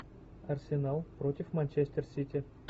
арсенал против манчестер сити